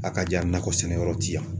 Akaja, nakɔ sɛnɛyɔrɔ ti yan.